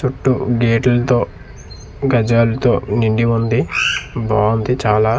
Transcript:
చుట్టూ గేటుల్తో గజాలతో నిండి ఉంది బావుంది చాలా.